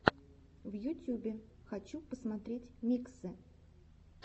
в ютюбе хочу посмотреть миксы